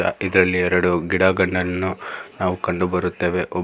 ಇದ್ರಲ್ಲಿ ಎರಡು ಗಿಡಗಳನ್ನು ನಾವು ಕಂಡು ಬರುತ್ತೇವೆ.